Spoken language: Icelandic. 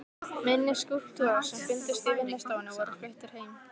Minni skúlptúrar sem fundust í vinnustofunni voru fluttir heim.